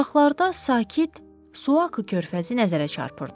Uzaqlarda sakit Suakı körfəzi nəzərə çarpırdı.